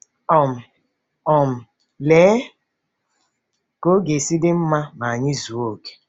um um Lee ka ọ ga-esi dị mma ma anyị zuo okè!